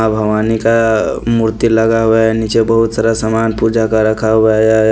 माँ भवानी का मूर्ति लगा हुआ है नीचे बहुत सारा सामान पूजा का रखा हुआ या है।